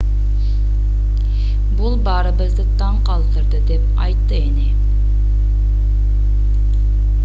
бул баарыбызды таң калтырды деп айтты эне